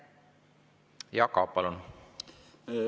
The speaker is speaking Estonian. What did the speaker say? Jaak Aab, palun!